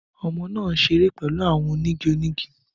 Ọmọ naa n ṣere pẹlu awọn onigi onigi